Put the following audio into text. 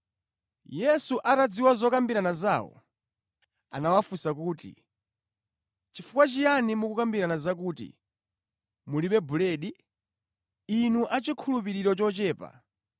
Yesu atadziwa zokambirana zawo, anawafunsa kuti, “Chifukwa chiyani mukukambirana zakuti, ‘mulibe buledi?’ Inu achikhulupiriro chochepa.